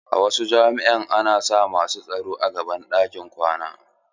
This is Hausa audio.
A wasu jami'a ana sa masu tsaro a gaban ɗakunan kwana.